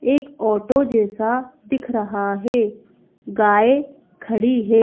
एक ऑटो जैसा दिख रहा है गाय खड़ी है।